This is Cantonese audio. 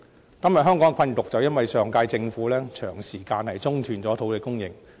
香港今天的困局，正是因為上屆政府長時間中斷土地供應所造成。